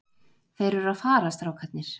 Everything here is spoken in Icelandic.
Þeir eru að fara, strákarnir.